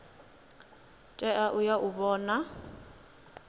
tea u ya u vhona